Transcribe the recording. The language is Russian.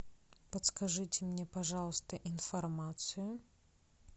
подскажите мне пожалуйста информацию